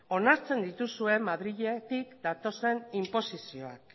onartzen dituzue madriletik datozen inposizioak